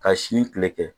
Ka si kile kɛ